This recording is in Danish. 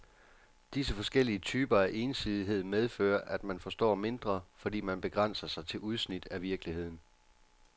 Disse forskellige typer af ensidighed medfører, at man forstår mindre, fordi man begrænser sig til udsnit af virkeligheden.